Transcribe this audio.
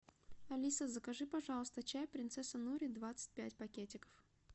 алиса закажи пожалуйста чай принцесса нури двадцать пять пакетиков